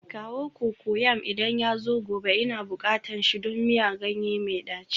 Kawo cocoyam idan yazo gobe, Ina bukatan shi don miyan ganye mai daci